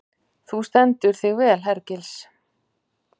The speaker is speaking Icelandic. Þú stendur þig vel, Hergils!